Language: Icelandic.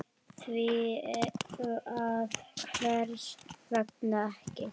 Því að hvers vegna ekki?